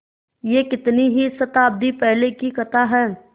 यह कितनी ही शताब्दियों पहले की कथा है